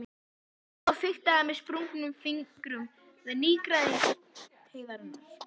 Hún þagnaði og fiktaði með sprungnum fingrum við nýgræðing heiðarinnar.